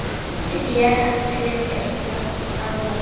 Ég hélt þið vilduð engan páfa!